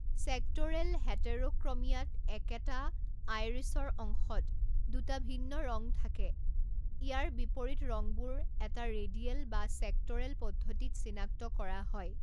Sectoral হেটেৰোক্ৰমিয়াত, একেটা আইৰিছৰ অংশত দুটা ভিন্ন ৰং থাকে, ইয়াৰ বিপৰীত ৰংবোৰ এটা ৰেডিয়েল বা চেক্ট'ৰেল পদ্ধতিত চিনাক্ত কৰা হয়।